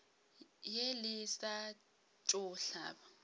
ye le sa tšo hlaba